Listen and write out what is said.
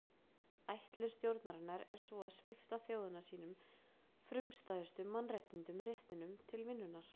Ætlun stjórnarinnar er sú að svipta þjóðina sínum frumstæðustu mannréttindum réttinum til vinnunnar.